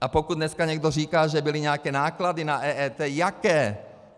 A pokud dneska někdo říká, že byly nějaké náklady na EET - jaké?